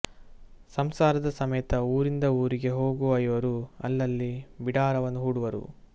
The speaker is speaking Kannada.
ಸಂಸಾರದ ಸಮೇತ ಊರಿಂದ ಊರಿಗೆ ಹೋಗುವ ಇವರು ಅಲ್ಲಲ್ಲಿ ಬಿಡಾರವನ್ನು ಹೂಡುವರು